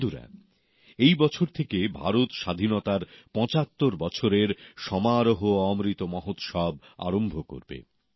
বন্ধুরা এই বছর থেকে ভারত স্বাধীনতার পঁচাত্তর বছরের সমারোহ অমৃত মহোৎসব আরম্ভ করবে